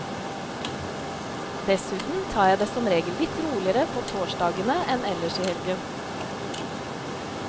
Dessuten tar jeg det som regel litt roligere på torsdagene enn ellers i helgen.